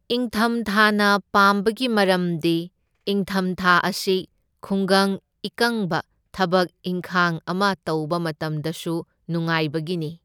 ꯢꯪꯊꯝꯊꯥꯅ ꯄꯥꯝꯕꯒꯤ ꯃꯔꯝꯗꯤ ꯢꯪꯊꯝꯊꯥ ꯑꯁꯤ ꯈꯨꯡꯒꯪ ꯏꯀꯪꯕ ꯊꯕꯛ ꯏꯪꯈꯥꯡ ꯑꯃ ꯇꯧꯕ ꯃꯇꯝꯗꯁꯨ ꯅꯨꯉꯥꯢꯕꯒꯤꯅꯤ꯫